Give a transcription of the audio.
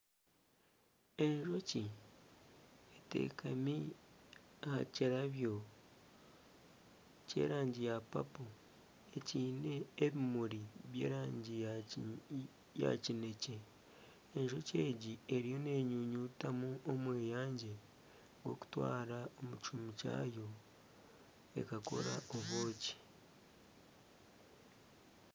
Enjoki etekami aha kirabyo kyerangi ya papo ekiine ebimuri by'erangi ya kinekye ,enjoki egi eriyo n'enyunyutamu omweyangye gw'okutwara omu kihumi kyagwo ekakora obwoki.